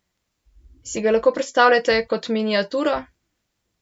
Si ga lahko predstavljate kot miniaturo?